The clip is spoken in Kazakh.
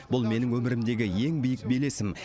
бұл менің өмірімдегі ең биік белесім